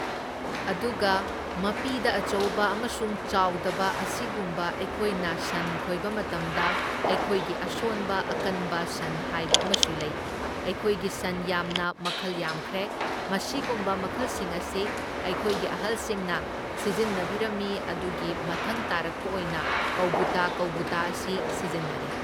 ꯑꯗꯨꯒ ꯃꯄꯤꯗ ꯑꯆꯧꯕ ꯑꯃꯁꯨꯡ ꯆꯥꯎꯗꯕ ꯑꯁꯤꯒꯨꯝꯕ ꯑꯩꯈꯣꯏꯅ ꯁꯟ ꯈꯣꯏꯕ ꯃꯇꯝꯗ ꯑꯩꯈꯣꯏꯒꯤ ꯑꯁꯣꯟꯕ ꯑꯀꯟꯕ ꯁꯟ ꯍꯥꯏꯕ ꯑꯃꯁꯨ ꯂꯩ, ꯑꯩꯈꯣꯏꯒꯤ ꯁꯟ ꯌꯥꯝꯅ ꯃꯈꯜ ꯌꯥꯝꯈ꯭ꯔꯦ, ꯃꯁꯤꯒꯨꯝꯕ ꯃꯈꯜꯁꯤꯡ ꯑꯁꯤ ꯑꯩꯈꯣꯏꯒꯤ ꯑꯍꯜꯁꯤꯡꯅ ꯁꯤꯖꯤꯟꯅꯕꯤꯔꯝꯃꯤ ꯑꯗꯨꯒꯤ ꯃꯊꯪ ꯇꯥꯔꯛꯄ ꯑꯣꯏꯅ ꯀꯧꯕꯨꯇꯥ ꯀꯧꯕꯨꯇꯥ ꯑꯁꯤ ꯁꯤꯖꯤꯟꯅꯔꯦ꯫